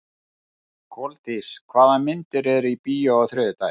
Koldís, hvaða myndir eru í bíó á þriðjudaginn?